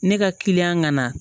Ne ka ŋana